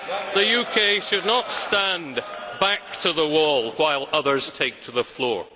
The UK should not stand back to the wall while others take to the floor.